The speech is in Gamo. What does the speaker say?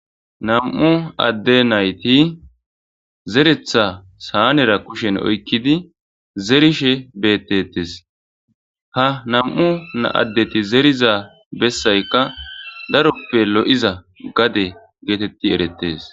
nam7u adde nayti zeretha saanera kushen oykkidi zerishe beettetes ha nam7u addeti zeriza bessaykka daroppe lo7iza gade geetetti erettes